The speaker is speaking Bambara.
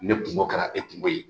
Ne kungo kɛra e kungo ye